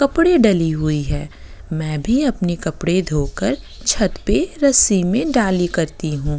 कपड़े डली हुई है मैं भी अपने कपड़े धो कर छत पे रस्सी में डाली करती हूँ।